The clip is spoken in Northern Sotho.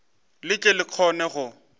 le tle le kgone go